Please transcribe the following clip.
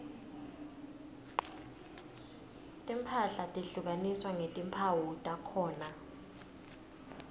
timphahla tehlukaniswa ngetimphawu takhona